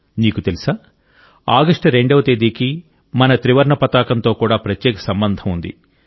మీకు తెలుసా ఆగస్టు 2వ తేదీకి మన త్రివర్ణ పతాకంతో కూడా ప్రత్యేక సంబంధం ఉంది